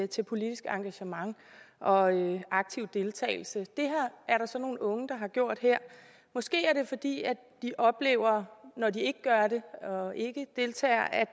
til politisk engagement og aktiv deltagelse det er der så nogle unge der har gjort her måske er det fordi de oplever når de ikke gør det og ikke deltager at